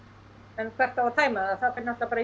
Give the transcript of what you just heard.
en hvert á að tæma það fer náttúrulega